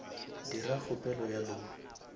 dira kgopelo ya loan